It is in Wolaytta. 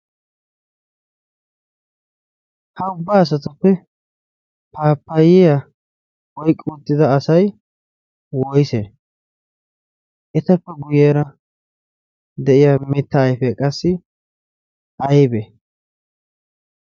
ha ubbaa asatuppe paapayiya oiqqiuttida asai woise etappe guyyeera de7iya mitta aife qassi aibe